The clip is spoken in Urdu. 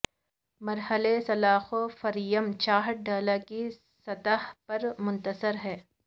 مرحلہ سلاخوں فریم چھت ڈھال کی سطح پر منحصر ہے